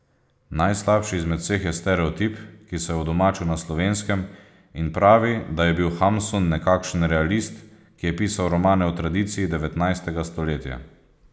Najslabši izmed vseh je stereotip, ki se je udomačil na Slovenskem in pravi, da je bil Hamsun nekakšen realist, ki je pisal romane v tradiciji devetnajstega stoletja.